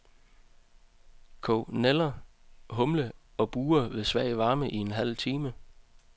Kog nælder, humle og burre ved svag varme i en halv time.